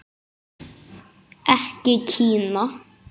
Ekki Kína.